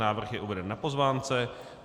Návrh je uveden na pozvánce.